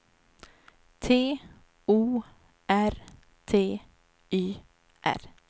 T O R T Y R